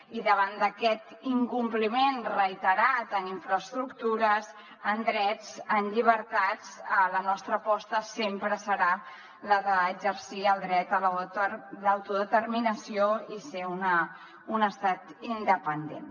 i davant d’aquest incompliment reiterat en infraestructures en drets en llibertats la nostra aposta de sempre serà la d’exercir el dret a l’autodeterminació i ser un estat independent